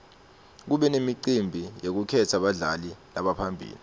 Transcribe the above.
kube nemicimbi yekukhetsa badlali labaphambili